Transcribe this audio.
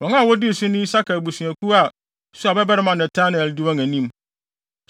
Wɔn a wodii so ne Isakar abusuakuw a Suar babarima Netanel di wɔn anim.